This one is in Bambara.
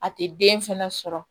A tɛ den fɛnɛ sɔrɔ